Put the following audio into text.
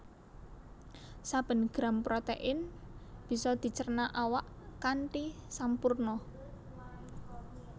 Saben gram protéin bisa dicerna awak kanthi sampurna